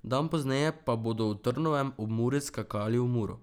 Dan pozneje pa bodo v Trnovem ob Muri skakali v Muro.